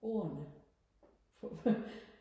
ordene